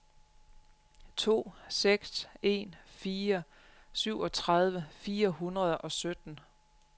to seks en fire syvogtredive fire hundrede og sytten